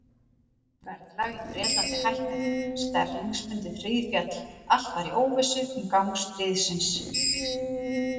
Verðlag í Bretlandi hækkaði, sterlingspundið hríðféll, allt var í óvissu um gang stríðsins.